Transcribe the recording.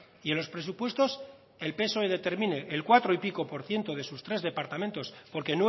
y en los presupuestos el psoe determine el cuatro y pico por ciento de sus tres departamentos porque